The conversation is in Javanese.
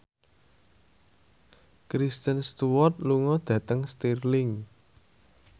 Kristen Stewart lunga dhateng Stirling